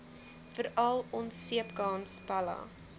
veral onseepkans pella